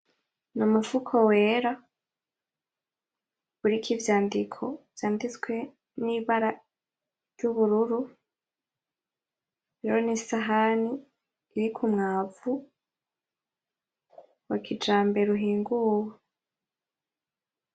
Numufuko wera uriko ivyandiko vyanditswe nibara ry'ubururu. Hariyo nisahani riri kumwavu wakijambere uhinguwe.